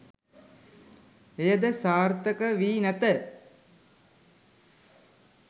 එය ද සාර්ථක වී නැත.